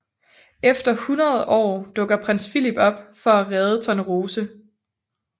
Efter 100 år dukker Prins Philip op for at redde Tornerose